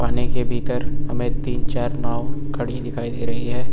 पानी के भीतर हमें तीन चार नांव खड़ी दिखाई दे रही है।